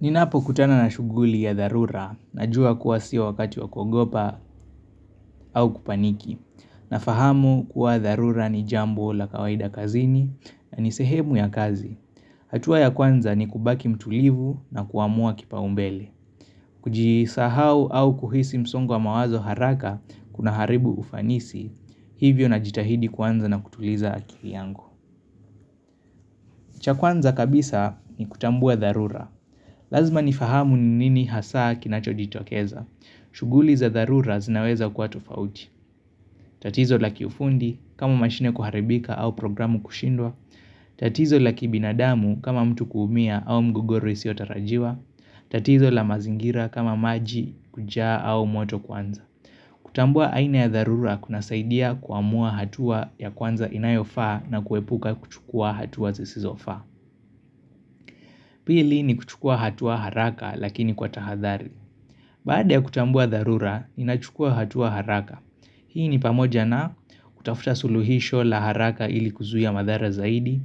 Ninapo kutana na shughuli ya dharura najua kuwa sio wakati wa kuogopa au kupaniki. Na fahamu kuwa dharura ni jambo la kawaida kazini na ni sehemu ya kazi. Hatua ya kwanza ni kubaki mtulivu na kuamua kipaumbele. Kujisahau au kuhisi msongo wa mawazo haraka kuna haribu ufanisi. Hivyo na jitahidi kuanza na kutuliza akili yangu. Cha kwanza kabisa ni kutambua dharura. Lazima ni fahamu ni nini hasaa kinacho jitokeza. Shughuli za dharura zinaweza kwa tofauti. Tatizo la kiufundi, kama mashine kuharibika au programu kushindwa. Tatizo la kibinadamu, kama mtu kuumia au mgogoro iisiyo tarajiwa. Tatizo la mazingira, kama maji kujaa au moto kuanza. Kutambua aina ya dharura kuna saidia kuamua hatua ya kwanza inayofaa na kuepuka kuchukua hatua zisizofaa. Pili ni kuchukua hatua haraka lakini kwa tahathari. Baada ya kutambua dharura, inachukua hatua haraka. Hii ni pamoja na kutafuta suluhisho la haraka ili kuzuia madhara zaidi,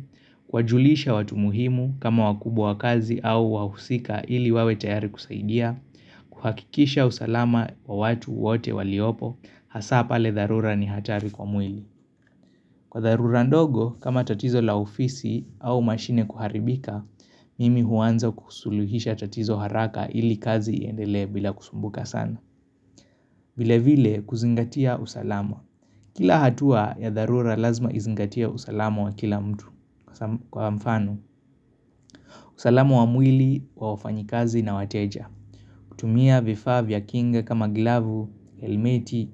kuwa julisha watu muhimu kama wakubwa wa kazi au wahusika ili wawe tayari kusaidia, kuhakikisha usalama wa watu wote waliopo, hasa pale dharura ni hatari kwa mwili. Kwa dharura ndogo, kama tatizo la ofisi au mashine kuharibika, mimi huanza kusuluhisha tatizo haraka ili kazi iendele bila kusumbuka sana. Vile vile kuzingatia usalama. Kila hatua ya dharura lazima izingatie usalama wa kila mtu. Kwa mfano, usalama wa mwili wa wafanyikazi na wateja. Kutumia vifaa vya kinga kama glavu, helmeti,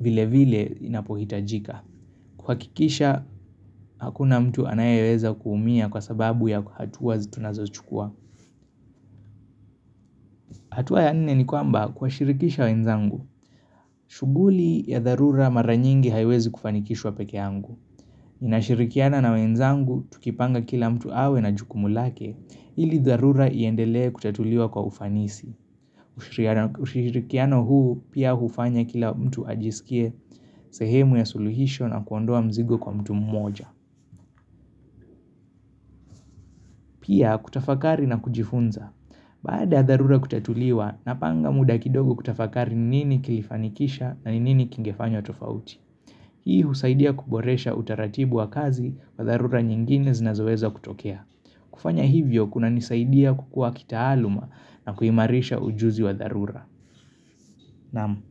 vile vile inapohitajika. Kuhakikisha, hakuna mtu anayeweza kuumia kwa sababu ya hatua hizi tunazo chukua hatua ya nne ni kwamba kuwashirikisha wenzangu shughuli ya dharura mara nyingi haiwezi kufanikishwa peke yangu ninashirikiana na wenzangu, tukipanga kila mtu awe na jukumu lake ili dharura iendelee kutatuliwa kwa ufanisi ushirikiano huu pia hufanya kila mtu ajisikie sehemu ya suluhisho na kuondoa mzigo kwa mtu mmoja Pia kutafakari na kujifunza. Baada dharura kutatuliwa napanga muda kidogo kutafakari nini kilifanikisha na nini kingefanywa tofauti. Hii husaidia kuboresha utaratibu wa kazi wa dharura nyingine zinazoweza kutokea. Kufanya hivyo kuna nisaidia kukua kitaaluma na kuimarisha ujuzi wa dharura. Naam.